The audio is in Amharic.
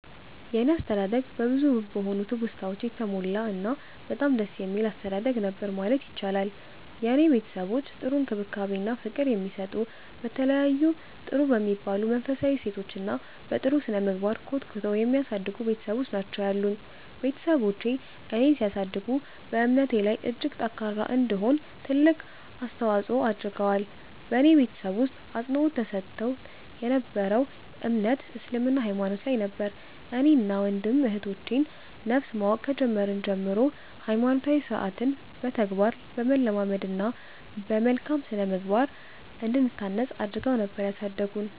የኔ አስተዳደግ በብዙ ውብ በሆኑ ትውስታወች የተሞላ እና በጣም ደስ የሚል አስተዳደግ ነበር ማለት ይቻላል። የኔ ቤተሰቦች ጥሩ እንክብካቤ እና ፍቅር የሚሰጡ፤ በተለያዩ ጥሩ በሚባሉ መንፈሳዊ እሴቶች እና በ ጥሩ ስነምግባር ኮትኩተው የሚያሳድጉ ቤትሰቦች ናቸው ያሉኝ። ቤትሰቦቼ እኔን ሲያሳድጉ በእምነቴ ላይ እጅግ ጠንካራ እንድሆን ትልቅ አስተዋፆ አድርገዋል። በኔ ቤተሰብ ውስጥ አፅንዖት ተሰጥቶት የ ነበረው እምነት እስልምና ሃይማኖት ላይ ነበር። እኔን እና ወንድም እህቶቼ ን ነፍስ ማወቅ ከጀመርን ጀምሮ ሃይማኖታዊ ስርዓትን በተግባር በማለማመድ እና በመልካም ስነምግባር እንድንታነፅ አድረገው ነበር ያሳደጉን።